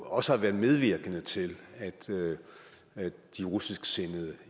også har været medvirkende til at de russisksindede